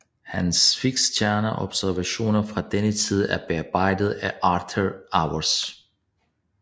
Hans fiksstjerneobservationer fra denne tid er bearbejdede af Arthur Auwers